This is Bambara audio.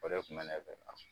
O de kun bɛ ,ne fɛ k'a fɔ